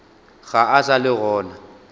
ga a sa le gona